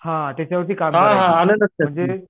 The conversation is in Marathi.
हां त्याच्यावरती काम करायची म्हणजे